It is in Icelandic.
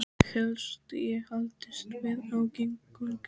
Helst ég haldist við á göngu.